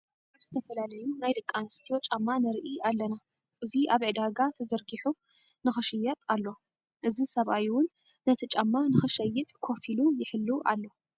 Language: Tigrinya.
ኣብ ዝተፈላለዩ ናይ ደቂ ኣነስትዮ ጫማ ንርኢ ኣለና ። እዚ ኣብ ዕዳጋ ተዘርጉሑ ንክሽየጥ ኣሎ። እዚ ሰብኣይ እውን ነቲ ጫማ ንክሸይጥ ኮፍ ኢሉ ይሕሉ ኣሎ።